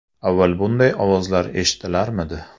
Avval bunday ovozlar eshitilarmidi?